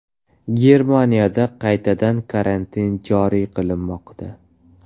Germaniyada qaytadan karantin joriy qilinmoqda.